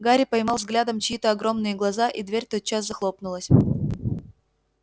гарри поймал взглядом чьи-то огромные глаза и дверь тотчас захлопнулась